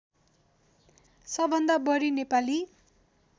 सबभन्दा बढी नेपाली